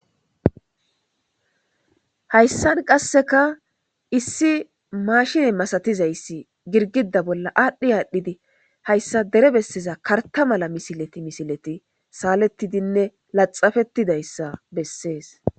Hayssan qasseka issi maashini masatizayssi girgida bolla aadhdhi aadhdhidi hayssa dere besseza karta mala misileti misileti saalettidinne laxafettidayssa bessees.